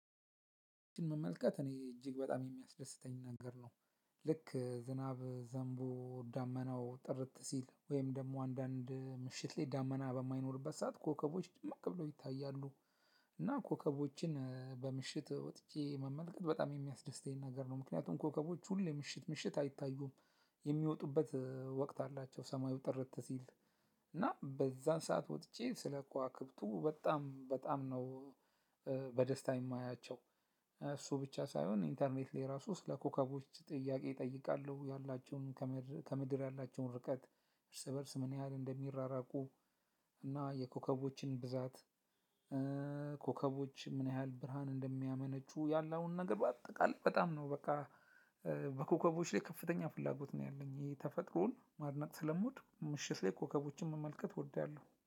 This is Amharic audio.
መመልከት እኔ እጅግ በጣም የሚያስደስተኝ ነገር ነው። ልክ ዝናብ ዘምቦ ዳመናው ጥርት ሲል ወይም ደግሞ አንዳንድ ምሽት ላይ ዳመና በማይኖርበት ሰዓት ኮከቦች ድምቅ ብለው ይታያሉ። እና ኮከቦችን በምሽት ወጥቼ መመልከት በጣም የሚያስደስተኝ ነገር ነው ምክንያቱም ኮከቦች ሁሌ ምሽት ምሽት አይታዩም። የሚወጡበት ወቅት አላቸው ሰማዩ ጥርት ሲል። እና በዛን ሰዓት ወጥቼ ስለከዋክብቱ በጣም በጣም ነው በደስታ የማያቸው። እሱ ብቻ ሳይሆን ኢንተርኔት ላይ ራሱ ስለ ኮከቦች ጥያቄ እጠይቃለሁ ያላቸውን። ከምድር ያላቸውን ርቀት። እርስ በእርስ ምን ያህል እንደሚራራቁ። እና የኮከቦችን ብዛት። ኮከቦች ምን ያህል ብርሃን እንደሚያመነጩ ያለውን ነገር በአጠቃላይ በጣም ነው በቃ። በኮከቦች ላይ ከፍተኛ ፍላጎት ነው ያለኝ። የተፈጥሮን ማድነቅ ስለምወድ ምሽት ላይ ኮከቦችን መመልከት እወዳለሁ